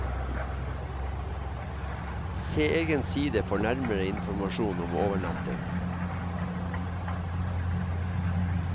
Se egen side for nærmere informasjon om overnatting.